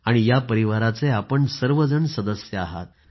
आणि या परिवाराचे आपण सर्वजण सदस्य आहात